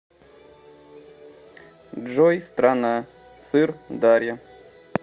джой страна сыр дарья